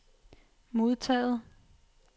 modtaget